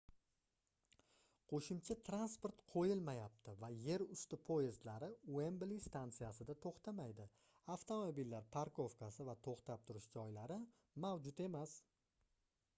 qoʻshimcha transport qoʻyilmayapti va yerusti poyezdlari uembli stansiyasida toʻxtamaydi avtomobillar parkovkasi va toʻxtab turish joylari mavjud emas